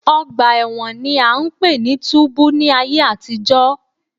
Ọgbà ẹ̀wọ̀n ni à ń pè ní túbú ní ayé àtijọ́